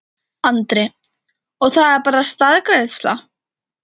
Andri: Og það er bara staðgreiðsla?